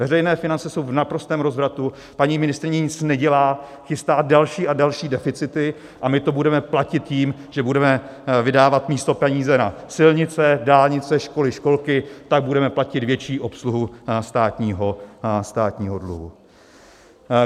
Veřejné finance jsou v naprostém rozvratu, paní ministryně nic nedělá, chystá další a další deficity a my to budeme platit tím, že budeme vydávat místo peníze na silnice, dálnice, školy, školky, tak budeme platit větší obsluhu státního dluhu.